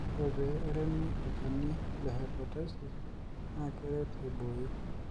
ore pee eremi olnchani le hepatisis naa keret aibooyo